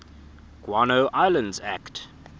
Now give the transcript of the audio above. guano islands act